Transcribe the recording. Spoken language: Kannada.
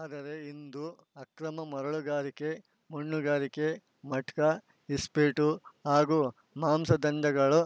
ಆದರೆ ಇಂದು ಅಕ್ರಮ ಮರಳುಗಾರಿಕೆ ಮಣ್ಣುಗಾರಿಕೆ ಮಟ್ಕಾ ಇಸ್ಪೀಟ್‌ ಹಾಗೂ ಮಾಂಸದಂಧೆಗಳು